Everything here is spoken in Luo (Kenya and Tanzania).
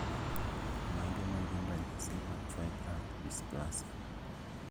Mage magin ranyisi mag fibrous dysplasia